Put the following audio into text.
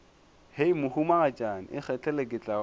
hei mohumagatšana ikgethele ke tla